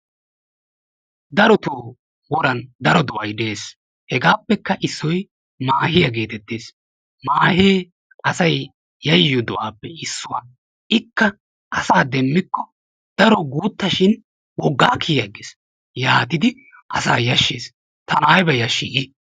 Darotoo woran daro do'ay dees. Hegaappekka issoy maahiya geetettees. Maahee asay yayiyo do'aappe issuwa. Ikka asaa demmikko daro guutta shin woggaa kiyi aggees. Yaatidi asaa yashshees. Tana ayba yashii I!